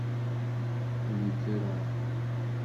ветеран